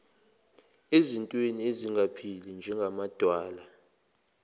ezintweni ezingaphili njengamadwala